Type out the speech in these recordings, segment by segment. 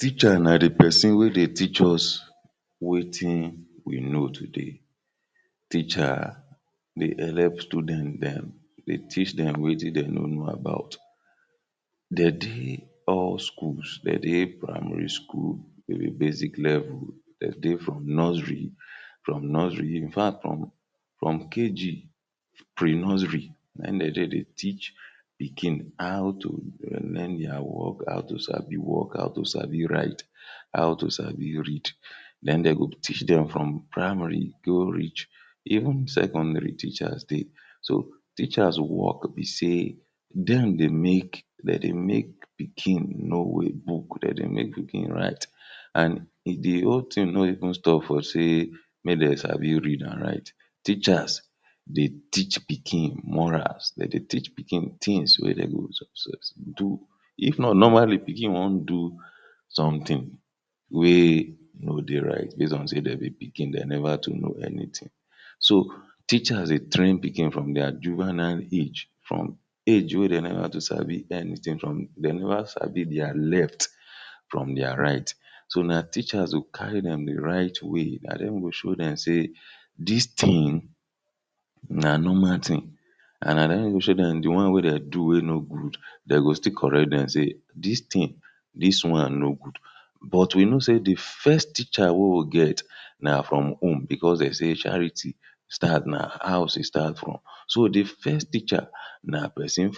Teacher na dey person wey dey teach us wetin we know today. Teacher dey helep students dem, dey teach dem wetin dem no know about de dey all schools, de dey primary school wey be basic level, de dey from nursery, from nursery, infact from KG pri-nursery na im de dey dey teach pikin how to learn dia work, how to sabi walk, how to sabi write, how to sabi read then dey go teach dem from primary go reach even secondary teachers dey so teachers work be sey dem dey make, dem dey make pikin know well book, dem dey pikin write and dey whole thing no even stop for sey make dem sabi read and write. Teachers dey teach pikin morals, dem dey teach pikin things wey dey go do, if not normally pikin wan do something wey no dey right base on sey dem be pikin dem never too know anything, so teachers dey train pikin from dia junevile age from age wey never too sabi anything from, de never sabi from dia left from dia right. So na teacherss go carry dem dey right way, na dem go show dem sey dis thing na normal thing and na dem go show dem the one wey dey do wey no good, dey go still correct dem say dis thing, dis one no good. But we know sey dey first teacher wey we get na from home because sey dey say charity na house e start from, so dey first teacher na pesin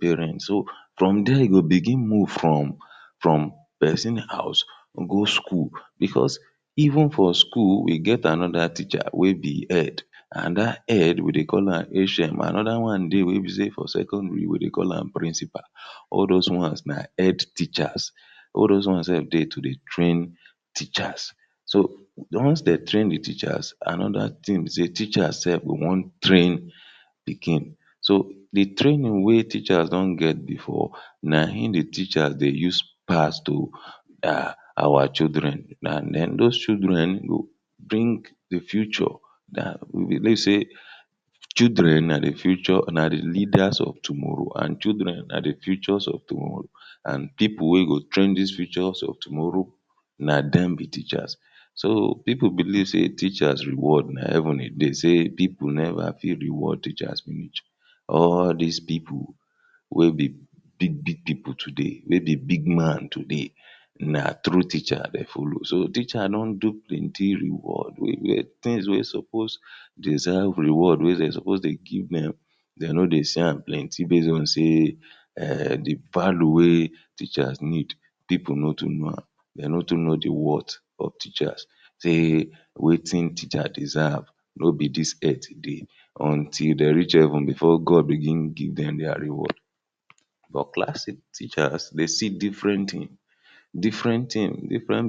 parent, so from dia e go begin move from from pesin house, go school because even for school we get another teacher wey be head and that head we dey call am HM. Another one dey we be sey for secondary we dey call am principal, all those ones na head teachers. All those ones sef dey to dey train teachers, so once dey train dey teachers another thing be sey teachers sef go wan train pikin So dey training wey teachers don get before na im dey teachers the use pass to our children and then those children go bring dey future lets say childern na the future na dey leaders of tomorrow and childern na dey futures of tomorrow and people wey go train these futures of tomorrow na dem be teachers. So pipul believe sey teachers reward na heaven e dey sey pipul never fit reward teachers reach, all these pipul wey be big big people today, wey be big man today na through teacher dey follow, so teacher don do plenty reward well well, things wey suppose deserve reward wey dey suppose give dem, dey no dey see am plenty base on sey dey palo wey teachers need people no too know am,. dem no too know dey worth of teachers say wetin teachers deserve no be dis earth e dey, until dey reach heaven before God begin give dem dia reward. For class teachers, dey see different things, different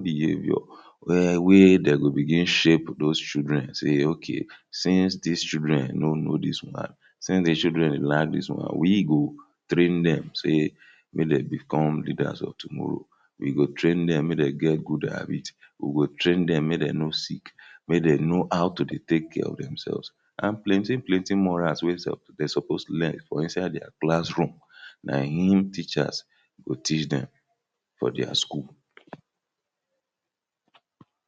behaviour. Well we dey go begin shape those children say okay since these children no know dis one since deychildren lack dis one, we go train dem sey make dem become leaders of tomorrow, we go train dem make dem get good habits, we go train dem make dem no sick. make dem know how to dey take care of themselves and plenty plenty morals wey sef dey suppose learn from inside dia classroom na im teachers go teach dem for dia school